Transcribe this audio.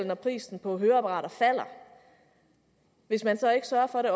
når prisen på høreapparater falder hvis man så ikke sørger for at det